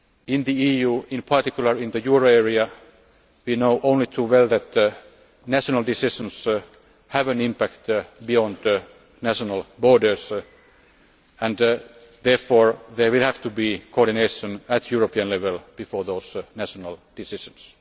In the EU, in particular in the euro area, we know only too well that national decisions have an impact beyond national borders, and therefore there will have to be coordination at European level before those national decisions.